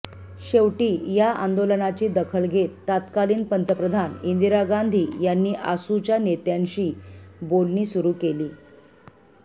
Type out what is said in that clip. शेवटी या आंदोलनाची दखल घेत तत्कालीन पंतप्रधान इंदिरा गांधी यांनी आसूच्या नेत्यांशी बोलणी सुरू केली